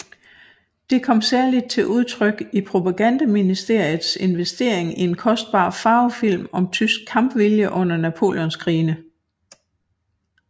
Det kom særligt til udtryk i propagandaministeriets investering i en kostbar farvefilm om tysk kampvilje under Napoleonskrigene